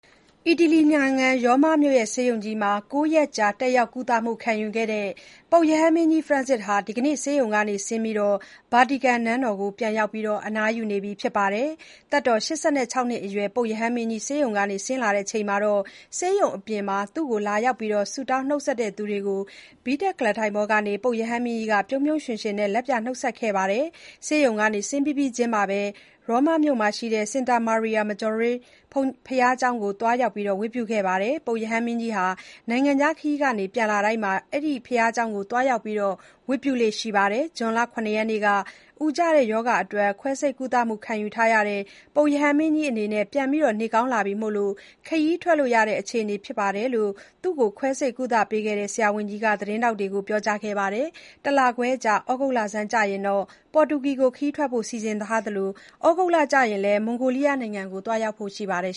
အီတလီနိုင်ငံ ရောမမြို့ ဆေးရုံကြီးမှာ ၉ ရက်ကြာ တက်ရောက်ကုသမှုယူခဲ့ရတဲ့ ပုပ်ရဟန်းမင်းကြီး ဖရန့်စစ်စ် (Francis) ဟာ ဒီနေ့ ဆေးရုံကဆင်းပြီး ဗာတီကန် (Vetican) နန်းတော်ကို ပြန်ရောက် အနားယူနေပါတယ်။ သက်တော် ၈၆ နှစ်အရွယ် ပုပ်ရဟန်းမင်းကြီးဆေးရုံက ဆင်းချိန် ဆေးရုံအပြင်မှာ လာရောက် ဆုတောင်း နှုတ်ဆက်သူတွေကို ဘီးတပ်ကုလားထိုင်ပေါ်ကနေ ပုပ်ရဟန်းမင်းကြီးက ပြုံးပြုံးရွှင်ရွှင်နဲ့ လက်ပြနှုတ်ဆက်ခဲ့ပါတယ်။ ဆေးရုံက ဆင်းပြီးပြီးချင်းမှာပဲ ရောမမြို့က St. Mary Major (စင်တာမာရီယာ မဂျော်ရေး) ဘုရားကျောင်းကို သွားရောက် ဝတ်ပြုခဲ့ပါတယ်။ ပုပ်ရဟန်းမင်းကြီးဟာ နိုင်ငံခြားခရီးကနေ ပြန်လာတိုင်း ဒီဘုရားကျောင်းကို သွားရောက် ဝတ်ပြုလေ့ရှိပါတယ်။ ဇွန်လ ၇ ရက်နေ့က အူကျရောဂါအတွက် ခွဲစိတ်ကုသမှု ခံယူထားတဲ့ ပုပ်ရဟန်းမင်းကြီးအနေနဲ့ ပြန်ကောင်းလာပြီမို့ ခရီးထွက်လို့ရတဲ့ အခြေအနေဖြစ်ပါတယ်လို့ သူ့ကို ခွဲစိတ်ကုသပေးခဲ့တဲ့ ဆရာဝန်ကြီးက သတင်းထောက်တွေကို ဗုဒ္ဓဟူးနေ့က ပြောကြားခဲ့ပါတယ်။ တလခွဲအကြာ သြဂုတ်လဆန်းကျရင် ပေါ်တူဂီကို ခရီးထွက်ဖို့ စီစဉ်ထားသလို၊ သြဂုတ်လကုန်ကျရင်လည်း မွန်ဂိုးလီးယားနိုင်ငံကို သွားရောက်ဖို့ ရှိနေပါတယ်